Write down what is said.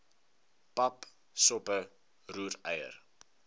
pap soppe roereier